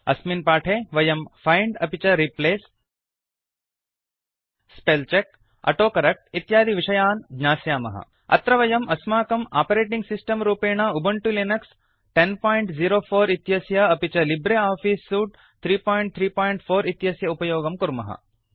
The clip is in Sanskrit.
अस्मिन् पाठे वयम् फैंड अपि च replace spell check auto correct इत्यादि विषयान् ज्ञास्यामः अत्र वयम् अस्माकम् आपरेटिंग् सिस्टम् रूपेण उबंटु लिनक्स 1004 इत्यस्य अपि च लिब्रे आफीस् सूट् 334 इत्यस्य उपयोगं कुर्मः